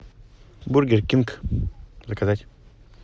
бургер кинг заказать